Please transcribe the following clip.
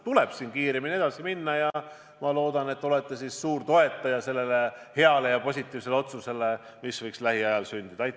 Tuleb kiiremini edasi minna ja ma loodan, et te olete suur toetaja sellele heale ja positiivsele otsusele, mis võiks lähiajal sündida.